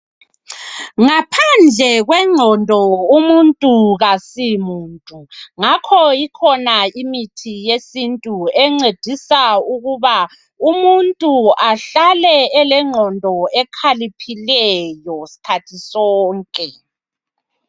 Ngaphandle kwengqondo umuntu kasimuntu ngakho ikhona imithi yesintu encedisa ukuba umuntu ahlale elengqondo ekhaliphileyo sikhathi sonke